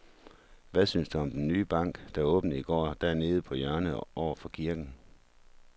Hvad synes du om den nye bank, der åbnede i går dernede på hjørnet over for kirken?